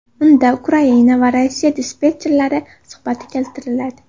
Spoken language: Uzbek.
Unda Ukraina va Rossiya dispetcherlari suhbati keltiriladi.